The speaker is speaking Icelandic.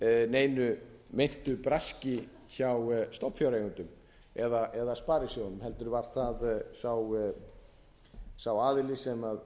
neinu meintu braski hjá stofnfjáreigendum eða sparisjóðunum heldur var það sá aðili sem